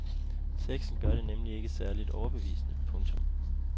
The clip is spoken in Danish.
Teksten gør det nemlig ikke særligt overbevisende. punktum